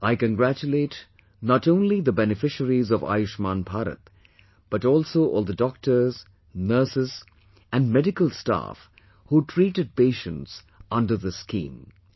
I congratulate not only the beneficiaries of 'Ayushman Bharat' but also all the doctors, nurses and medical staff who treated patients under this scheme